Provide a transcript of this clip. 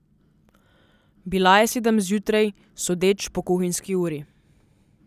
Bila je sedem zjutraj, sodeč po kuhinjski uri.